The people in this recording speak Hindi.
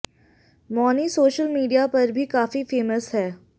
मौनी सोशल मीडिया पर भी काफी फेमस हैं